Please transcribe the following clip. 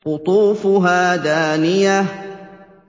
قُطُوفُهَا دَانِيَةٌ